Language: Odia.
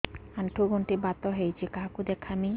ଆଣ୍ଠୁ ଗଣ୍ଠି ବାତ ହେଇଚି କାହାକୁ ଦେଖାମି